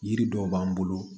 Yiri dɔw b'an bolo